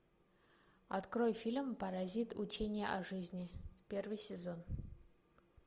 открой фильм паразит учение о жизни первый сезон